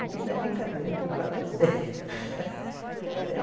Aqui não é brincadeira, aqui o caso é sério. era